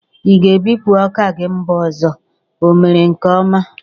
I ga ebupu oka gi mba ọzọ? Ọ mere nke ọma